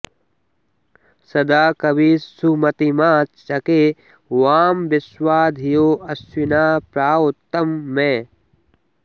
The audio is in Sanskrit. सदा कवी सुमतिमा चके वां विश्वा धियो अश्विना प्रावतं मे